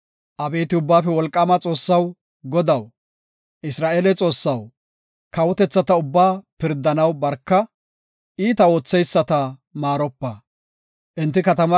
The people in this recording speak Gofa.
Abeeti Ubbaafe Wolqaama Xoossaw, Godaw, Isra7eele Xoossaw, kawotethata ubbaa pirdanaw barka; iita ootheyisata maaropa. Salaha